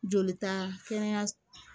Joli ta kɛnɛyaso